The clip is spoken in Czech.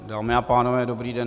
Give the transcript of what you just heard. Dámy a pánové, dobrý den.